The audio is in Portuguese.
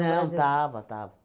Não, estava, estava.